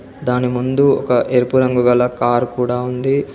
దాని ముందు ఒక ఎరుపు రంగు గల కారు కూడా ఉంది.